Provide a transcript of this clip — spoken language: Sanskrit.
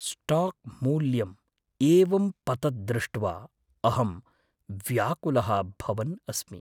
स्टाक् मूल्यं एवं पतत् दृष्ट्वा अहं व्याकुलः भवन् अस्मि।